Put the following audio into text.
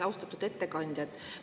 Austatud ettekandja!